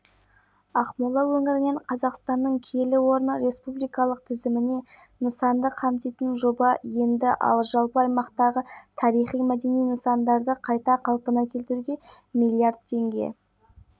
қатар білім мәдениет саласында да көптеген іс-шаралар қарастырылуда рухани жаңғыру бағдарламасына ақмола облысы үлкен үлес